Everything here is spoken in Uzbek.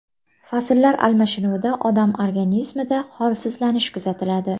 Fasllar almashinuvida odam organizmida holsizlanish kuzatiladi.